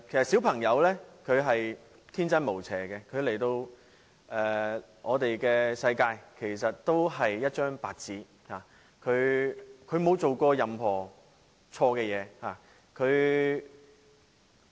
小朋友天真無邪，他們來到這個世界時是一張白紙，沒有做過任何錯事。